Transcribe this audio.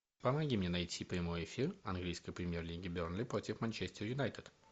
помоги мне найти прямой эфир английской премьер лиги бернли против манчестер юнайтед